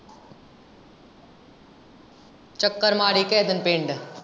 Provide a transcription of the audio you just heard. ਚੱਕਰ ਮਾਰੀ ਕਿਹੇ ਦਿਨ ਪਿੰਡ।